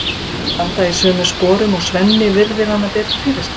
Þeir standa í sömu sporum og Svenni virðir hana betur fyrir sér.